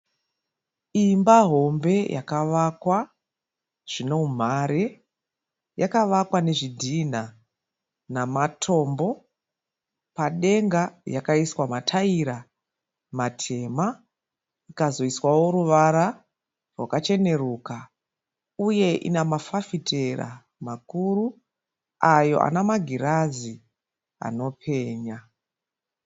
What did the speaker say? Imba hombe yakavakwa zvine umhare. Yakavakwa nezvidhinha namatombo. Padenga yakaiswa mataira matema ikazoiswawo ruvara rwakacheneruka uye ine mafafitera makuru ayo ane magirazi anopenya.